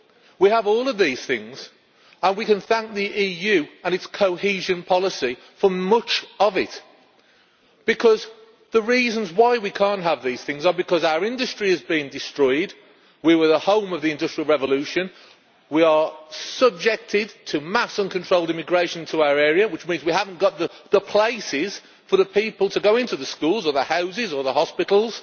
We have all of these things, and we can thank the EU and its cohesion policy for much of it, because the reasons why we cannot have these things is because our industry has been destroyed we were the home of the industrial revolution and we are subjected to mass, uncontrolled immigration into our area, which means we do not have the places for people to go into the schools or the houses or the hospitals.